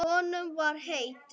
Honum var heitt.